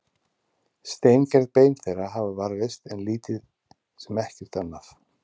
Steingerð bein þeirra hafa varðveist en lítið sem ekkert annað.